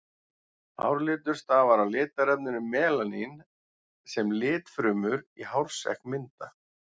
Hárlitur stafar af litarefninu melanín sem litfrumur í hársekk mynda.